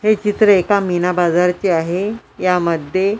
हे चित्र एका मीना बाजारचे आहे यामध्ये --